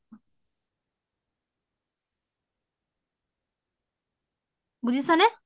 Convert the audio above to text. বুজিচা নে?